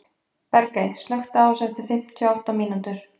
Bergey, slökktu á þessu eftir fimmtíu og átta mínútur.